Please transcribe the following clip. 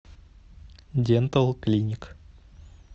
дентал клиник